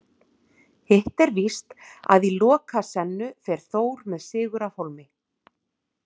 Hitt er víst að í Lokasennu fer Þór með sigur af hólmi.